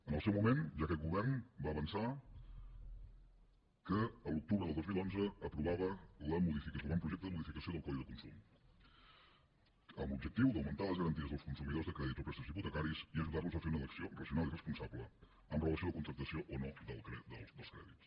en el seu moment ja aquest govern va avançar que l’octubre del dos mil onze aprovava l’avantprojecte de modificació del codi de consum amb l’objectiu d’augmentar les garanties dels consumidors de crèdits o préstecs hipotecaris i ajudar los a fer una elecció racional i responsable amb relació a la contractació o no dels crèdits